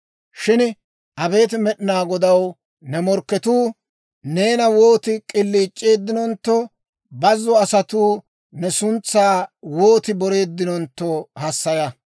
Shin abeet Med'inaa Godaw, ne morkketuu, neena wooti k'iliic'eeddinontto, booza asatuu ne suntsaa wooti boreeddinontto hassaya.